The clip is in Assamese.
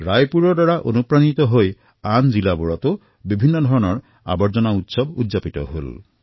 ৰায়পুৰৰ পৰা প্ৰেৰণা পাই অন্য জিলাসমূহতো বিভিন্ন প্ৰকাৰৰ কছৰা মহোৎসৱ অনুষ্ঠিত হল